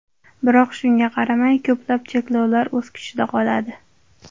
Biroq shunga qaramay, ko‘plab cheklovlar o‘z kuchida qoladi.